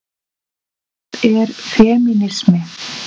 Hvað er femínismi?